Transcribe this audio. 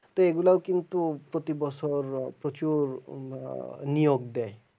তো এইগুলাও কিন্তু প্রতি বছর আহ প্রচুর আহ নিয়োগ দেয়।